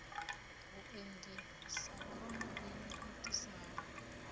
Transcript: vhuendi sa khono i itisaho